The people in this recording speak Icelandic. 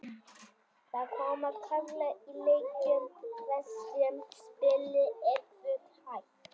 Það koma kaflar í leikjum þar sem spilið er full hægt.